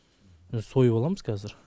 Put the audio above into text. сойып аламыз кәзір